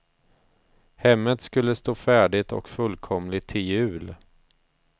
Hemmet skulle stå färdigt och fullkomligt till jul.